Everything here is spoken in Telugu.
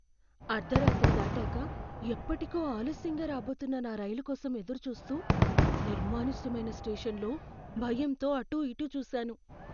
అర్ధరాత్రి దాటాక ఎప్పటికో ఆలస్యంగా రాబోతున్న నా రైలు కోసం ఎదురుచూస్తూ, నిర్మానుష్యమైన స్టేషన్లో భయంతో అటూ ఇటూ చూశాను.